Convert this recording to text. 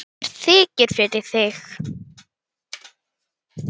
Mér þykir fyrir því.